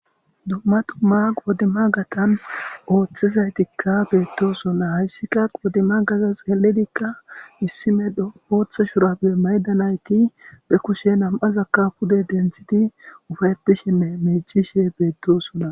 Dumma tumma qoodima gatan ooththizaytikka beettosona hayssika qoodima gaza xeeledikka issimedho ooththa shurappe maydanayti be kushe nam'azakka pude denthidi ufaypishenne meecishe beettosona.